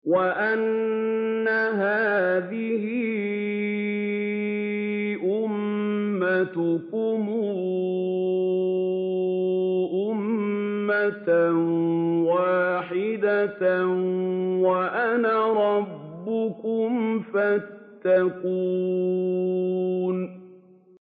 وَإِنَّ هَٰذِهِ أُمَّتُكُمْ أُمَّةً وَاحِدَةً وَأَنَا رَبُّكُمْ فَاتَّقُونِ